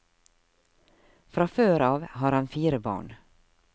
Fra før av har han fire barn.